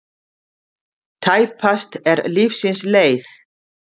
Tæpast er lífsins leið.